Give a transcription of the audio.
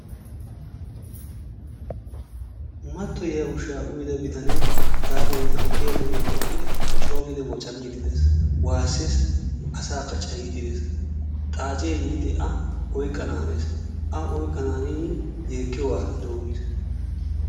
mattoyiyaa ushsha uyyidia bitanee hagaa beytti ogiyaa doonan eqqid coo giidi woccaamide dees, waasses, asakka cayyide dees. xaccee yiidi a oyqqananees, a oyqqananin yeekkiyooga ha'i doommiis.